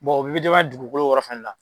o bɛɛ bɛ dugukolo yɔrɔ fana na.